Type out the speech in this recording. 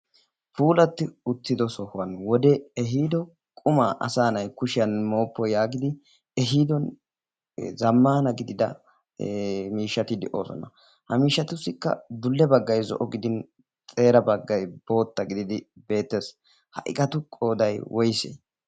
puulatti uttido sohuwan wode ehiido qumaa asaanai kushiyan mooppo yaagidi ehiido zammana gidida miishshati de7oosona. ha miishatussikka dulle baggai zo77o gidin xeera baggai bootta gididi beettes. ha iqatu qoodai woissee?